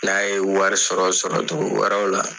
N'a ye wari sɔrɔ sɔrɔ togo wɛrɛw la